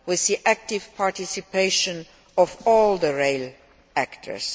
We see active participation of all the rail actors.